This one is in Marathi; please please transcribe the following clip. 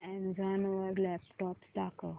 अॅमेझॉन वर लॅपटॉप्स दाखव